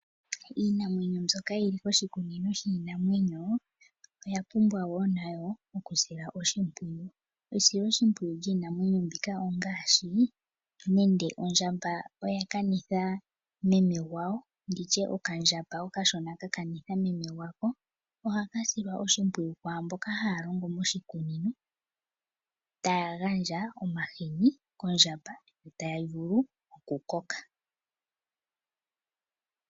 Iinamwenyo mbyoka yili koshikunino shiinamwenyo oya pumbwa woo nayo okusilwa oshimpwiyu. Esoloshimpwiyu lyiinamwenyo mbika ongaashi nenge ondjabamba oya kanitha yina ,okandjamba okashona kakanitha yina ohaka silwa oshimpwiyu kwaamboka haya longo moshikunino taya gandja omahini kondjamba yivule okukoka.